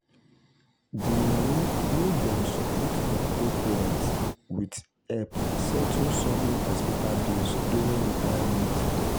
the money wey dem support their old parents with help settle sudden hospital bills during retirement.